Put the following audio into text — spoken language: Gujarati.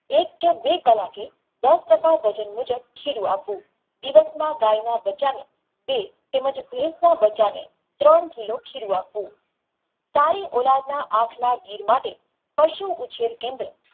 એક કે બે કાલકે દસ ટકા વજન મુજબ ખીરું આપવું ઇવાતમાં ગાયના બચ્ચા ને તેમજ ભેંસના બચ્ચાને ત્રણ કિલો આપવું તારી ગુલાબના આંખના ગીર માટે પશુ ઉપસાર કેન્દ્ર